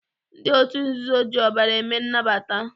Ndị otu nzuzo ji ọbara eme nnabata.